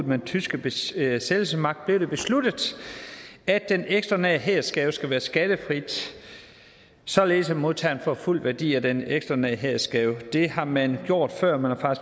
med den tyske besættelsesmagt blev det besluttet at den ekstraordinære hædersgave skal være skattefri således at modtageren får fuld værdi af den ekstraordinære hædersgave det har man gjort før man har